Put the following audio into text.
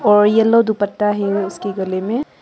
और येलो दुपट्टा है उसके गले में।